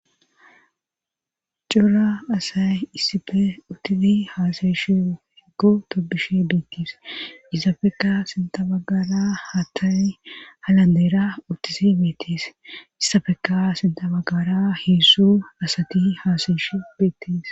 cura asay issafe utisi haasayeshi heggu topbishi beettiis izafekka sintabagara hatani halandeera utisi beettees issafeka sintabagara heessu asati haasayeshi beettees